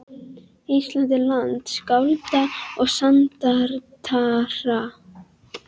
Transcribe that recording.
Ísland er land skálda og sagnaritara.